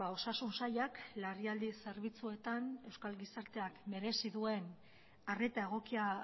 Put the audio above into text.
osasun sailak larrialdi zerbitzuetan euskal gizarteak merezi duen arreta egokia